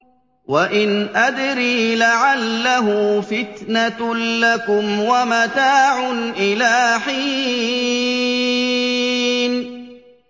وَإِنْ أَدْرِي لَعَلَّهُ فِتْنَةٌ لَّكُمْ وَمَتَاعٌ إِلَىٰ حِينٍ